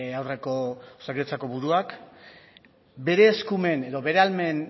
aurreko osakidetzako buruak bere eskumen edo bere